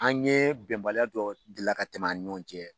An ɲe bɛnbaliya dɔw deli la ka tɛmɛ an ni ɲɔn cɛ.